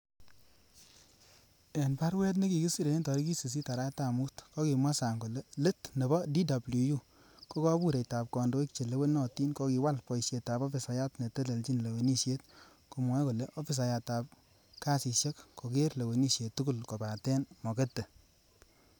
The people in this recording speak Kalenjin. En barue nekikisire en tarigit sisit arawetab Mut, Kokimwa Sang kole let nebo DWU, ko kobureitab kondoik che lewenotin kokiwal boisietab ofisayat netelelchi lewenisiet, komwoe kole ofisayatab kasisiek kogeer lewenisiet tugul kobaten mokete